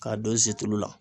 K'a don situlu la